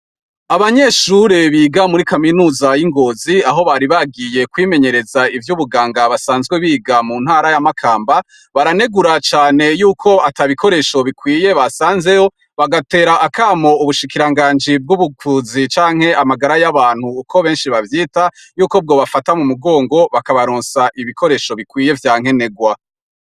Abanyeshure biga muri kaminuza y'ingozi, aho bari bagiye kwimenyereza ivyo ubuganga, basanzwe biga mu ntara y'amakamba, baranegura cane yuko atabikoresho bikwiye basanzeho, bagatera akamo ubushikiranganji bw'ubuvuzi canke amagara y'abantu, uko benshi bavyita ,yuko bwo bafata mu mugongo, bakabaronsa ibikoresho bikwiye vya nkenegwa.